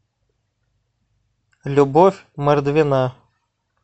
любовь мордвина